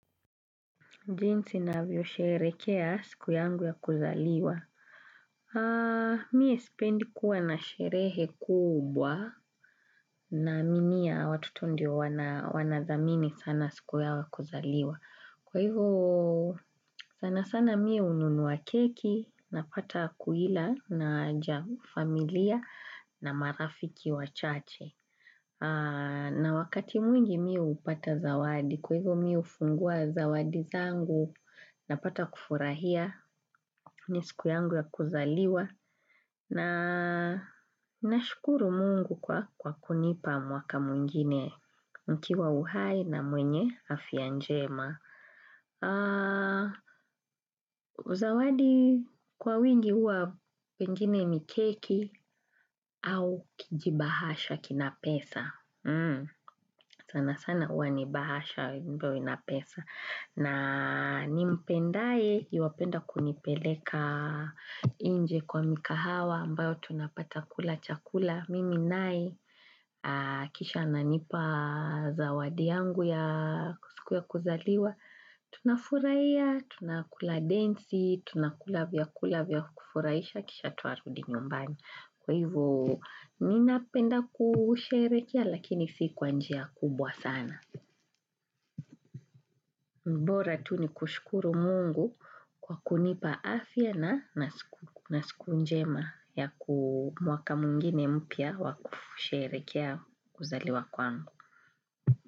Jinsi navyosherekea siku yangu ya kuzaliwa. Miye sipendi kuwa na sherehe kubwa naaminia watoto ndio wanazamini sana siku yao ya kuzaliwa. Kwa hivyo sana sana miye hununua keki napata kuila na familia na marafiki wachache. Na wakati mwingi mi hupata zawadi kwa hivyo mi hufungua zawadi zangu napata kufurahia siku yangu ya kuzaliwa na nashukuru mungu kwa kunipa mwaka mwingine nikiwa uhai na mwenye afya njema. Zawadi kwa wingi huwa pengine ni keki au kijibahasha kina pesa Sanasana huwa ni bahasha mtu awe na pesa na ni mpendae yuwapenda kunipeleka inje kwa mikahawa ambayo tunapata kula chakula Mimi naye kisha ananipa zawadi yangu ya siku ya kuzaliwa Tunafurahia, tunakula densi, tunakula vyakula vya kufurahisha kisha twarudi nyumbani Kwa hivo ninapenda kusherekea lakini si kwa njia kubwa sana mbora tu ni kushkuru mungu kwa kunipa afya na na siku njema ya kuu mwaka mwingine mpya wa kusherekea kuzaliwa kwangu.